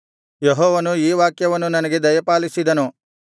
ಯೆಹೋವನು ಈ ವಾಕ್ಯವನ್ನು ನನಗೆ ದಯಪಾಲಿಸಿದನು